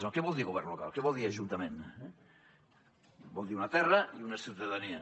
què vol dir govern local què vol dir ajuntament vol dir una terra i una ciutadania